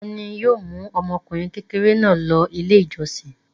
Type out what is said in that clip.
Ta ni yóò mú ọmọkùnrin kékeré náà lọ Ilé-ìjọsìn?